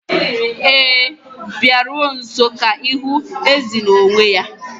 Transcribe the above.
Ee, Biko bịaruo nso ka ịhụ ezi n'onwe ya.